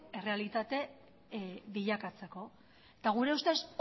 errealitate bilakatzeko eta gure ustez